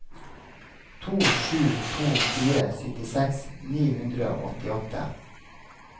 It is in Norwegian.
to sju to fire syttiseks ni hundre og åttiåtte